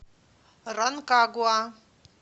ранкагуа